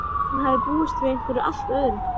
Hún hafði búist við einhverju allt öðru.